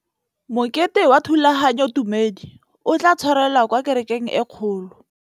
Mokete wa thulaganyôtumêdi o tla tshwarelwa kwa kerekeng e kgolo.